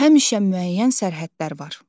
Həmişə müəyyən sərhədlər var.